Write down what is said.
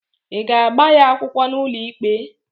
ị ga-agba ya akwụkwọ n'ụlọikpe?